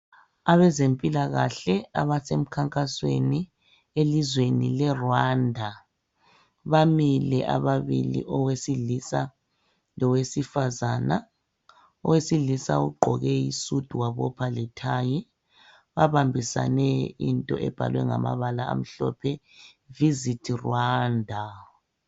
Abezempilakahle abasemkhankasweni elizweni leRwanda, bamile ababili owesilisa lowesifazana. Owesilisa ugqoke isudu wabopha lethayi babambisane into ebhalwe ngamabala amhlophe "visit Rwanda".